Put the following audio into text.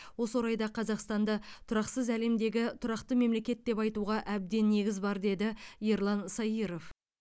осы орайда қазақстанды тұрақсыз әлемдегі тұрақты мемлекет деп айтуға әбден негіз бар деді ерлан саиров